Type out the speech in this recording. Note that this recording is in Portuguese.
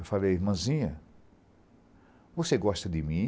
Eu falei, irmãzinha, você gosta de mim?